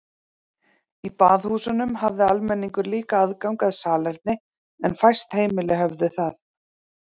Í baðhúsunum hafði almenningur líka aðgang að salerni en fæst heimili höfðu þau.